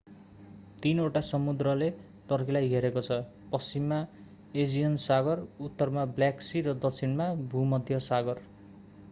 तीनवटा समुद्रले टर्कीलाई घेरेको छ पश्चिममा एजियन सागर उत्तरमा ब्ल्याक सी र दक्षिणमा भूमध्य सागर